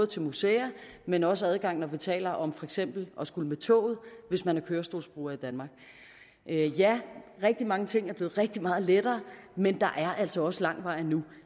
til museer men også adgang når vi taler om for eksempel at skulle med toget hvis man er kørestolsbruger i danmark ja rigtig mange ting er blevet rigtig meget lettere men der er altså også lang vej endnu